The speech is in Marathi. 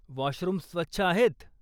वाॅशरूम्स स्वच्छ आहेत?